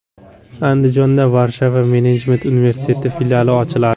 Andijonda Varshava menejment universiteti filiali ochiladi.